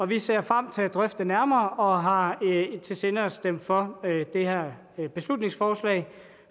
vi ser frem til at drøfte det nærmere og har i sinde at stemme for det her beslutningsforslag